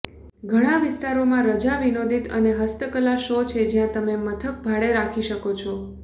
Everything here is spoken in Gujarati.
ઘણા વિસ્તારોમાં રજા વિનોદિત અને હસ્તકલા શો છે જ્યાં તમે મથક ભાડે રાખી શકો છો